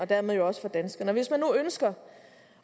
dermed også for danskerne og hvis man nu ønsker